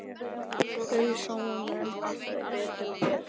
Það sáu menn alltaf betur og betur.